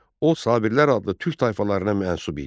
O, Sabirlər adlı türk tayfalarına mənsub idi.